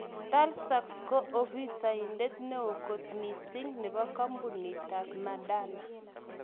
Tals zaks ko, afisaindet neo kot missing nepo kampunitap Moderna